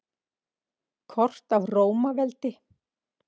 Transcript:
Kort af Rómaveldi.